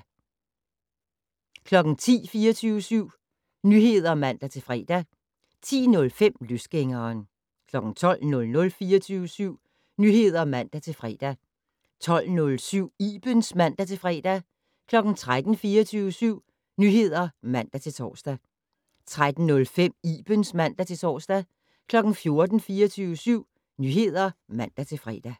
05:05: På Forkant * 06:05: 24syv Morgen (man-fre) 09:05: Millionærklubben (man-fre) 10:00: 24syv Nyheder (man-fre) 10:05: Løsgængeren 12:00: 24syv Nyheder (man-fre) 12:07: Ibens (man-fre) 13:00: 24syv Nyheder (man-tor) 13:05: Ibens (man-tor) 14:00: 24syv Nyheder (man-fre)